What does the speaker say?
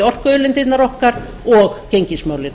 orkuauðlindirnar okkar og gengismálin